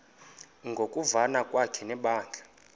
ngokuvana kwakhe nebandla